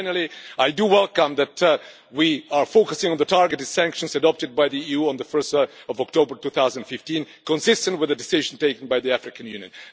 Finally, I welcome that we are focusing on the targeted sanctions adopted by the EU on 1 October 2015, consistent with the decision taken by the African Union.